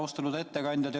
Austatud ettekandja!